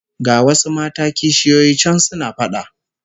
Ga wasu mata kishiyoyi can suna fada